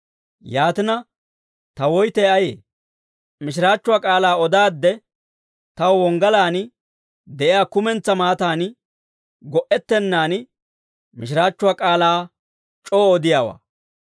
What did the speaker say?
Yaatina, ta woytay ayee? Mishiraachchuwaa k'aalaa odaadde, taw wonggalaan de'iyaa kumentsaa maataan go"ettennan, mishiraachchuwaa k'aalaa c'oo odiyaawaa.